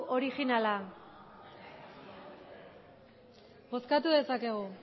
originala bozkatu dezakegu